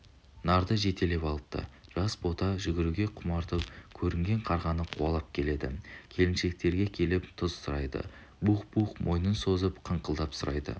нарды жетелеп алыпты жас бота жүгіруге құмартып көрінген қарғаны қуалап келеді келіншектерге келіп тұз сұрайды буһ-буһ мойнын созып қыңқылдап сұрайды